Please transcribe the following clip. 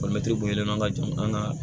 an ka jamana an ka